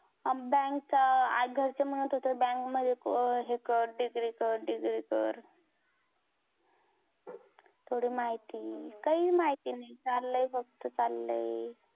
bank च घरचे म्हणत होते bank मध्ये हे कर degree कर degree कर थोडी माहिती काही माहिती नाही चाललंय फक्त चाललंय